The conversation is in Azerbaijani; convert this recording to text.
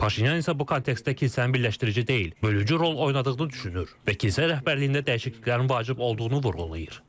Paşinyan isə bu kontekstdə kilsəni birləşdirici deyil, bölücü rol oynadığını düşünür və kilsə rəhbərliyində dəyişikliklərin vacib olduğunu vurğulayır.